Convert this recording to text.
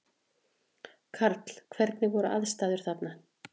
Karl: Hvernig voru aðstæður þarna?